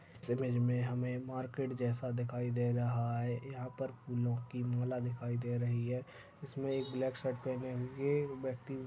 इस इमेज में हमें मार्केट जैसा दिखाई दे रहा है यहां पर फूलों की माला दिखाई दे रही है। इसमें एक ब्लाक शर्ट पहने हुए व्यक्ति--